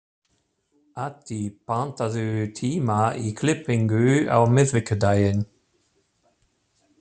Addi, pantaðu tíma í klippingu á miðvikudaginn.